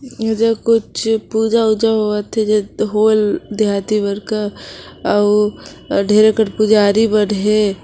इधर कुछ पूजा उजा होवत है देहाती बड़का अउ ढेर पुंजारी बढ़ हे।